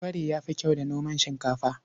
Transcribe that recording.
Kwari ya fi kyau da noman shinkafa.